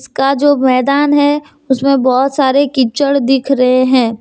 का जो मैदान है उसमें बहोत सारे कीच्चड़ दिख रहे हैं।